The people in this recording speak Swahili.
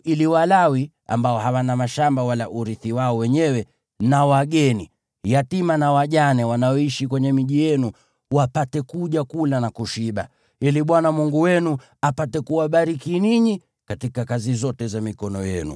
ili Walawi (ambao hawana mashamba wala urithi wao wenyewe) na wageni, yatima na wajane wanaoishi kwenye miji yenu wapate kuja kula na kushiba, ili Bwana Mungu wenu apate kuwabariki ninyi katika kazi zote za mikono yenu.